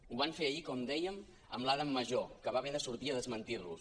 ho van fer ahir com dèiem amb l’adam majó que va haver de sortir a desmentir los